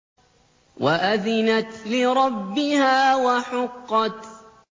وَأَذِنَتْ لِرَبِّهَا وَحُقَّتْ